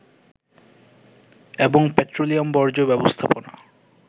এবং পেট্রোলিয়াম বর্জ্য ব্যবস্থাপনা